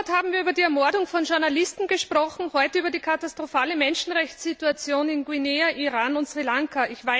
Vor einem Monat haben wir über die Ermordung von Journalisten gesprochen, heute über die katastrophale Menschenrechtssituation in Guinea, Iran und Sri Lanka.